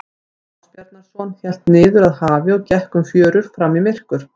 Jón Ásbjarnarson hélt niður að hafi og gekk um fjörur fram í myrkur.